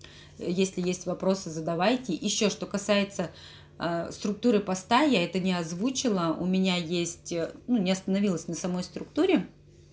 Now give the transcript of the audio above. если есть вопросы задавайте ещё что касается ээ структуры поста я это не озвучила у меня есть ну не остановилась на самой структуре